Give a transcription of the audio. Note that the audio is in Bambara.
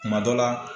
Kuma dɔ la